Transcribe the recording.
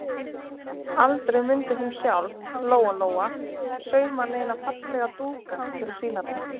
Aldrei mundi hún sjálf, Lóa-Lóa, sauma neina fallega dúka til að sýna þeim.